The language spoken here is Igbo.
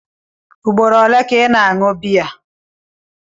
Ugboro ole ka ị na-aṅụ biya?